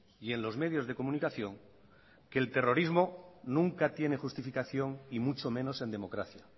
y en los medios de comunicación que el terrorismo nunca tiene justificación y mucho menos en democracia